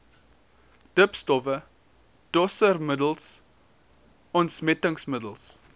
dipstowwe doseermiddels ontsmettingsmiddels